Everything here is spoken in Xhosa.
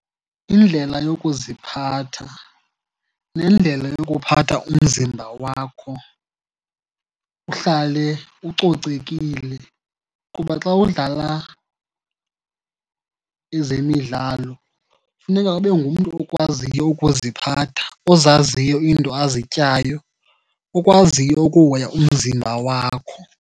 Indlela yokuziphatha nendlela yokuphatha umzimba wakho uhlale ucocekile. Kuba xa udlala ezemidlalo kufuneka ube ngumntu okwaziyo ukuziphatha, ozaziyo iinto azityayo okwaziyo ukuhoya umzimba wakho.